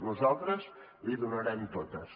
nosaltres l’hi donarem totes